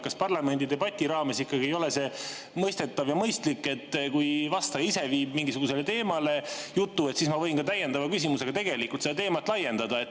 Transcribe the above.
Kas parlamendidebati raames ei ole see mõistetav ja mõistlik, et kui vastaja ise viib jutu mingisugusele teemale, siis ma võin täiendava küsimusega seda teemat laiendada?